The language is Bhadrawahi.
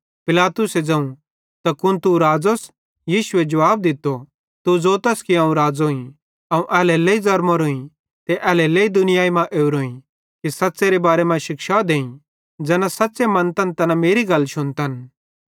पिलातुसे ज़ोवं त कुन तू राज़ोस यीशुए जुवाब दित्तो तू ज़ोतस कि अवं राज़ोईं अवं एल्हेरेलेइ ज़रमोरोंई ते एल्हेरेलेइ दुनियाई मां ओरोईं कि सच़्च़ेरे बारे मां शिक्षा देईं ज़ैना सच़्च़े मन्तन तैना मेरी गल शुन्तन